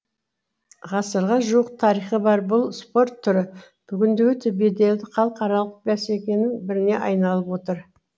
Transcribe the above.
ғасырға жуық тарихы бар бұл спорт түрі бүгінде өте беделді халықаралық бәсекенің біріне айналып отыр